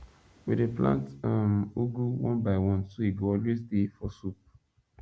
we dey plant um ugu one by one so e go always dey for soup